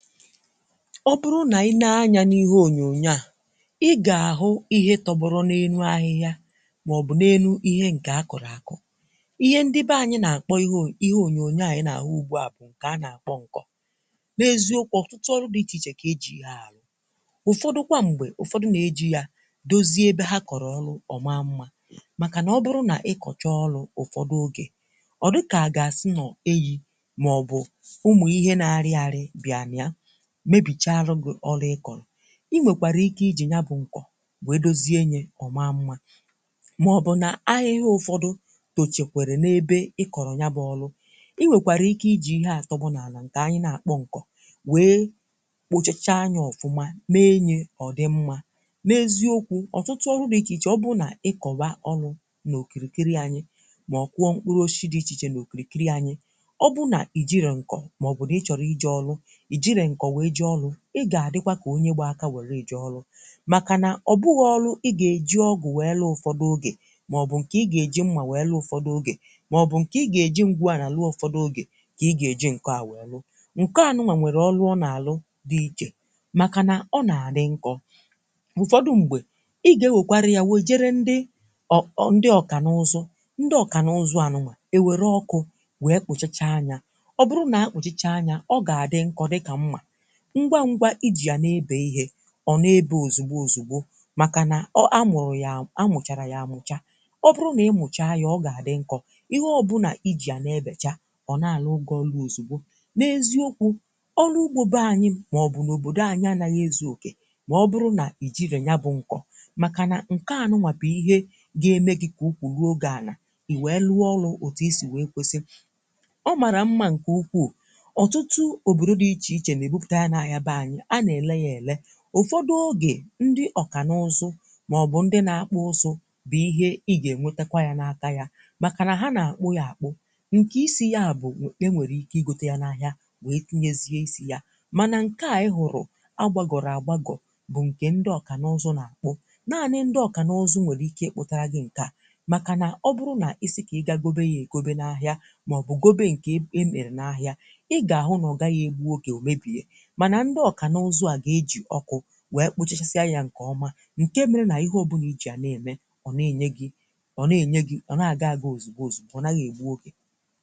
Ọ bụrụ nà i nee anyȧ n’ihe ònyònyo à, i gà-àhụ ihe tọgbọrọ n’enu ahịhịa, màọbụ̀ n’enu ihe ǹkè a kọ̀rọ̀ àkọ̀. Ihe ndị be ànyị nà-àkpọ ihe ihe ònyònyo ànyị nà-àhụ ugbu à bụ̀ ǹkè a na-àkpọ ǹkọ̀. N'eziokwu, ọ̀tụtụ ọrụ dí ichè ichè kà ejì ya àlụ. Ụ́fọdụ kwa m̀gbè, ụ̀fọdụ nà-ejì ya dozie ebe ha kọ̀rọ̀ ọlụ ọ̀ma Mmȧ. Màkà nà ọ bụrụ nà ị kọ̀chọ ọlụ̇ ụ̀fọdụ ogè, ọ̀ dukà àga-asị nọ̀ eyi̇ màọ̀bụ̀ ụmụ ihe na arị arị bịa na ya mebìchaa lughụ̇ ọlụ ị kọ̀rọ̀. Inwèkwàrà ike ijì ya bụ̇ ǹkọ̀ wèe dozie nyė ọ̀ma mmȧ; màọbụ̀ n’ahịhịa ụ̀fọdụ tochèkwèrè n’ebe i kọ̀rọ̀ ya bụ̇ ọlụ, inwèkwàrà ike ijì ihe àtọbụnàlà ǹkè anyị̇ na-àkpọ ǹkọ̀ wèe kpochacha nya ọ̀fụma mee nyė ọ̀ dị mmȧ. N'eziokwu̇ ọ̀tụtụ ọrụ̇ dị ichè ichè ọ bụrụ nà ị kọ̀wa ọlụ̇ n’òkìrìkiri anyị̇, mà ọ̀kụ̀ọ mkpụrụ oshịshị dị ichè ichè n’òkìrìkiri anyị̇; ọ bụrụ nà ìjiro ǹkọ̀ màọ̀bụ̀ n’ịchọ̀rụ ije ọlụ̇, ijịrọ ṅkọ̀ wee je ọlụ ị ga-adịkwà ka onye gba aka weere ije ọlụ̀. Maka na ọ bughị̀ ọlụ̀ ị ga-eji ọgụ̀ wee lụọ ụfọdụ, ogè maọbụ̀ nke ị ga-eji mmà wee lụọ ụfọdụ ogè, maọbụ nke ị ga-eji ngwụálà wee lụọ ụfọdụ ogè; ka ị ga-eji ǹkọ̀ à wee lụọ. Nke à nụnwa nwere ọlụ ọ na-alụ dị iche makà na ọ na-adị nkọ̀, ụfọdụ ṁgbe ị ga-ewekwarị yà wee jere ndị ọ ọ ndị ọka na-ụzù. Ndị ọka na-ụzụ á nụnwà e were ọkụ̀ wee kpụchacha nya ọ bụrụ na a kpụchacha anya ọ ga-adị nkọ̀ dị kà mmà, ngwa ngwa ịji ya na-ebe ihe ọ na-ebe ozugbo ozugbo; maka na ọ a mụrụ ya a a mụchara ya amụcha ọ bụrụ na ị mụcha ya ọ ga-adị nkọ̇, ihe ọ bụ na ịji ya na-ebècha ọ na-alụu gị ọlụ ozugbo. N’eziokwu̇ ọlụ ugbȯ be anyị̇ maọ̀bụ̀ n’òbòdo anyị anaghị ezuokè ma ọbụrụ na ị jire ya bụ nkọ̇; maka na nke a nụwà bụ̀ ihe ga-eme gị kà ụkwụ Lụo gị́ anà, i wee lụọ ọlụ̇ ọtụtụ i sì wee kwesịrị. Ọ marà mma nkè ukwuù, ọtụtụ obodo dị́ iche iche na-ebupụta ya na aya be anyị a na-ele ya ele. Ụfọdụ̀ oge, ndị ọkànụ̀zụ̀ maọ̀bụ̀ ndị̀ na-akpụ̀ ụzụ̀ bụ̀ ihe ị ga-enwetakwà ya na-akà yà; makà nà ha na-akpụ̀ ya akpụ̀. Nke isi ya bụ̀ e nwere ike ịgote ya n’ahịà, wee tinyezie isi yà. Manà nke à ị hụrụ̀ agbagọ̀rọ̀ agbagọ̀ bụ̀ nke ndị ọkànụ̀ụzụ̀ n’akpụ, naanị̀ ndị ọkànụ̀ụzụ̀ nwere ike ịkpụtarà gị̀ nke à; makà nà ọ bụrụ̀ na isi ka ị ga-gobe ya egobe n’ahịà, maọ̀bụ̀ gobe nke e emere n’ahịà, ị ga-ahụ na Ọ gaghị egbụ oge omebie. Mana ndị ọkànụ̀ụzụ̀ a ga-eji ọkụ wee kpụchasịa yȧ ǹkè ọma, ǹke mere nà ihe ọbụnà ịji yà na-ème; ọ̀ na-ènye gị̇ ọ̀ na-ènyė gị̇, ọ̀ na-àga aga ozìgbo ozìgbo ọnaghị̇ ègbu ogè.